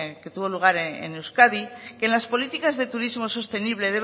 que tuvo lugar en euskadi que en las políticas de turismo sostenible